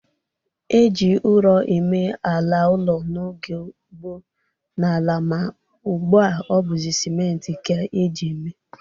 E ji ụrọ eme ala ụlọ n'oge gboo n'ala ma ugbu a ọ bụzị simentị ka e ji eme.